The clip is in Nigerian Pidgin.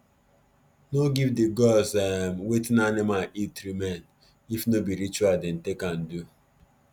no give the gods um watin animal eat remain if no be ritual dem take am do